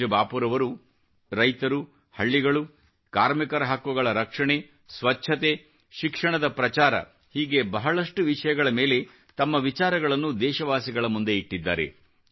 ಪೂಜ್ಯ ಬಾಪೂರವರು ರೈತರು ಹಳ್ಳಿಗಳು ಕಾರ್ಮಿಕರ ಹಕ್ಕುಗಳ ರಕ್ಷಣೆ ಸ್ವಚ್ಚತೆ ಶಿಕ್ಷಣದ ಪ್ರಚಾರ ಹೀಗೆ ಬಹಳಷ್ಟು ವಿಷಯಗಳ ಮೇಲೆ ತಮ್ಮ ವಿಚಾರಗಳನ್ನು ದೇಶವಾಸಿಗಳ ಮುಂದೆ ಇಟ್ಟಿದ್ದಾರೆ